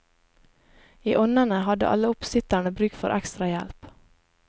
I onnene hadde alle oppsitterne bruk for ekstrahjelp.